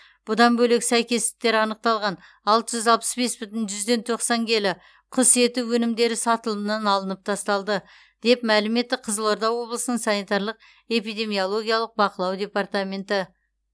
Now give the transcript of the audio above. бұдан бөлек сәйкестіктер анықталған алты жүз алпыс бес бүтін жүзден тоқсан келі құс еті өнімдері сатылымнан алынып тасталды деп мәлім етті қызылорда облысының санитарлық эпидемиологиялық бақылау департаменті